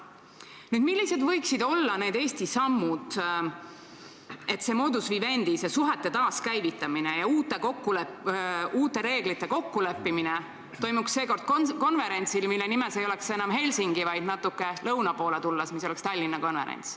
Nüüd, millised võiksid olla Eesti sammud, et see modus vivendi, see suhete taaskäivitamine ja uute reeglite kokkuleppimine toimuks seekord konverentsil, mille nimes ei oleks enam Helsingi, vaid – natuke lõuna poole tulles – Tallinn.